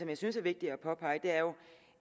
jeg synes er vigtigt at påpege er